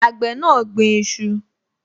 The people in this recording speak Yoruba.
Àgbẹ̀ náà gbin iṣu